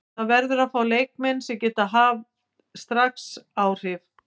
Það verður að fá leikmenn sem geta haft áhrif strax.